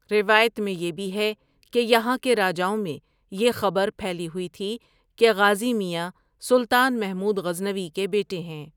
روایت میں یہ بھی ہے کہ یہاں کے راجاؤں میں یہ خبرپھیلی ہوئی تھی کہ غازی میاں سلطان محمودغزنوی کے بیٹے ہیں ۔